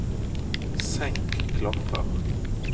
senk klaffer